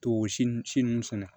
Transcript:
To o si nun si nunnu sɛnɛ